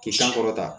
K'i san kɔrɔta